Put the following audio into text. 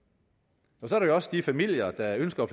så er der jo også de familier der ønsker at